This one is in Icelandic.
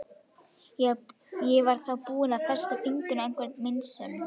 Ég var þá búin að festa fingur á einhverri meinsemd.